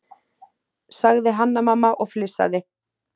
sagði Hanna-Mamma og flissaði.